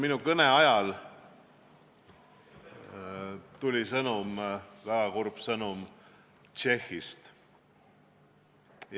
Minu kõne ajal tuli kurb sõnum Tšehhist.